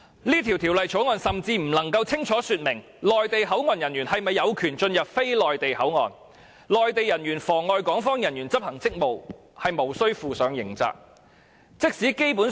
這項《條例草案》甚至不能清楚說明內地口岸人員是否有權進入非內地口岸，內地人員妨礙港方人員執行職務是無須負上刑責的。